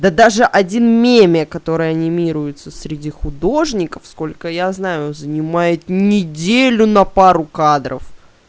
да даже один меми который анимируется среди художников сколько я знаю он занимает неделю на пару кадров